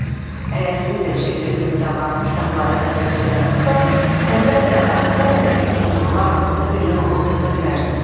"Əgər siz də Şiller kimi davranıb kitabları əvvəlcədən oxusaz, əlbəttə, Avstraliyadakı kenqurular haqqında belə roman yaza bilərsiz."